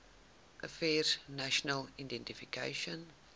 affairs national identification